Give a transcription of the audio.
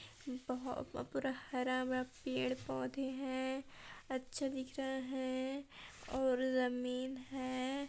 हरा बरा पड़े पौधे है अच्छे दिख रहे हैं और जमीन है।